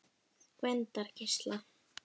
Gvendargeisla